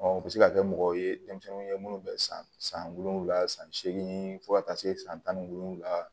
u bɛ se ka kɛ mɔgɔw ye denmisɛnninw ye minnu bɛ san san wolonwula san seegin fo ka taa se san tan ni wolonwula